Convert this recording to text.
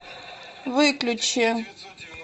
выключи